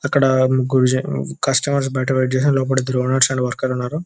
అక్కడ ముగ్గురు కస్టమర్స్ బయట వెయిట్ చేస్తున్నారు లోపల ఇద్దరు ఓనెర్స్ వర్కర్స్ ఉన్నారు .